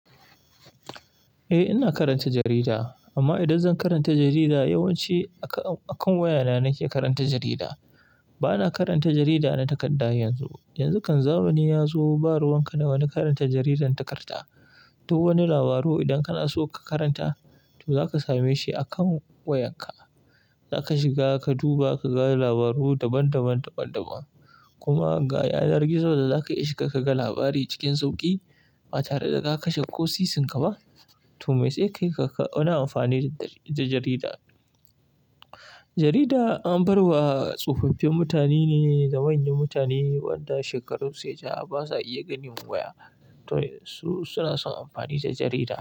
Eh, ina karanta jarida. Amma idan zan karanta jarida, yawanci akan wayana nake karanta jarida. Bana karanta jarida na takarda yanzu. Yanzu kan zamani ya zo ba ruwan ka da na karanta jaridar takarda. Duk wani labari idan kana so ka karanta, to za ka same shi akan wayarka. Za ka shiga, ka duba ka ga labarai daban-daban. Kuma inga yanar gizo da za ka ishe ka kaga labari cikin sauƙi ba tare da ka kashe kwasisinka ba. To, me sai kai Ka wani amfani da jarida. Jarida an bar wa tsofaffin mutane ne da manyan mutane waɗanda shekarun su ya ja ba sa iya ganin waya. To su suna son amfani da jarida.